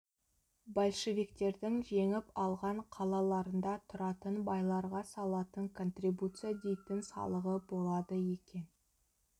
большевиктердің жеңіп алған қалаларында тұратын байларға салатын контрибуция дейтін салығы болады екен